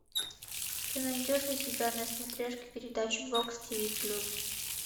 ты найдешь у себя на смотрешке передачу бокс тиви плюс